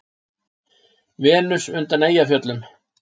Venus undan Eyjafjöllum.